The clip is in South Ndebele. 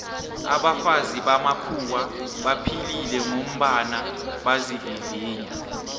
abafazi bamakhuwa baphilile ngombana bazivivinya